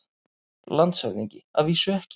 LANDSHÖFÐINGI: Að vísu ekki.